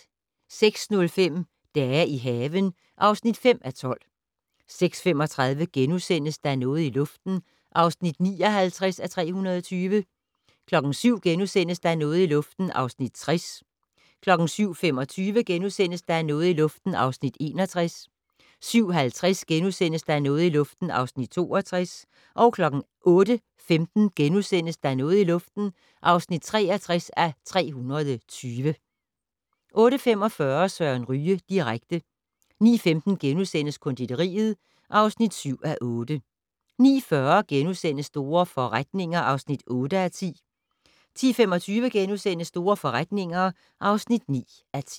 06:05: Dage i haven (5:12) 06:35: Der er noget i luften (59:320)* 07:00: Der er noget i luften (60:320)* 07:25: Der er noget i luften (61:320)* 07:50: Der er noget i luften (62:320)* 08:15: Der er noget i luften (63:320)* 08:45: Søren Ryge direkte 09:15: Konditoriet (7:8)* 09:40: Store forretninger (8:10)* 10:25: Store forretninger (9:10)*